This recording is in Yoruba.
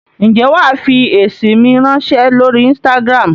Ǹjẹ́ wàá fi èsì mi ráńṣẹ́ lórí Instagram?